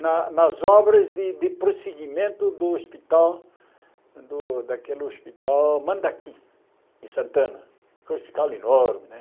na nas obras de de prosseguimento do hospital, do daquele hospital Mandaki, em Santana, que é um hospital enorme né.